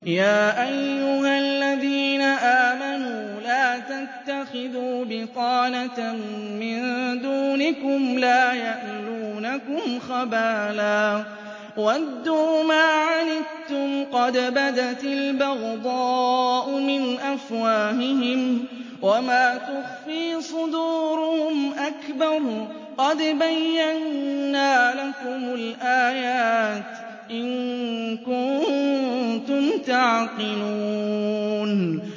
يَا أَيُّهَا الَّذِينَ آمَنُوا لَا تَتَّخِذُوا بِطَانَةً مِّن دُونِكُمْ لَا يَأْلُونَكُمْ خَبَالًا وَدُّوا مَا عَنِتُّمْ قَدْ بَدَتِ الْبَغْضَاءُ مِنْ أَفْوَاهِهِمْ وَمَا تُخْفِي صُدُورُهُمْ أَكْبَرُ ۚ قَدْ بَيَّنَّا لَكُمُ الْآيَاتِ ۖ إِن كُنتُمْ تَعْقِلُونَ